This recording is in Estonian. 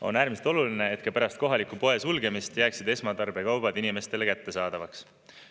On äärmiselt oluline, et ka pärast kohaliku poe sulgemist jääksid esmatarbekaubad inimestele kättesaadavaks.